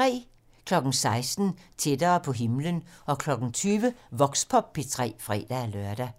16:00: Tættere på himlen 20:00: Voxpop P3 (fre-lør)